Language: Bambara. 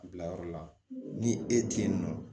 Bila yɔrɔ la ni e tɛ yen nɔ